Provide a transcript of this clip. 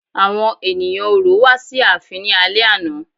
Àwọn ènìyàn Orò wá sí ààfin ní alẹ́ àná.